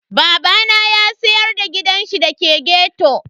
Babana ya siyar da gidanshi da ke ghetto.